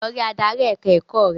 Lọ rí adarí ẹ̀ka-ẹ̀kọ́ rẹ!